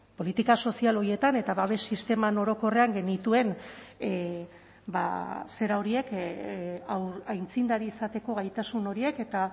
politika sozial horietan eta babes sisteman orokorrean genituen zera horiek aitzindari izateko gaitasun horiek eta